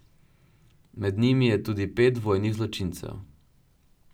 Med njimi je tudi pet vojnih zločincev.